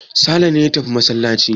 Sale ne ya tafi masallaci.